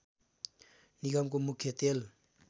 निगमको मुख्य तेल